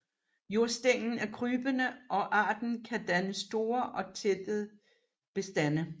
Jordstænglen er krybende og arten kan danne store og tætte bestande